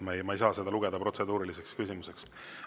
Ma ei saa seda lugeda protseduuriliseks küsimuseks.